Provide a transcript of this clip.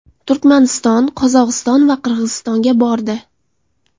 Turkmaniston, Qozog‘iston va Qirg‘izistonga bordi.